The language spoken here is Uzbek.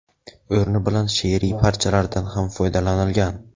o‘rni bilan she’riy parchalardan ham foydalanilgan.